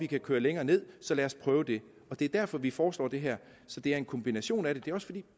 kan køre længere ned så lad os prøve det det er derfor vi foreslår det her så det er en kombination af det det er også fordi